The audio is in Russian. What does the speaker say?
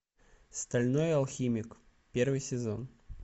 стальной алхимик первый сезон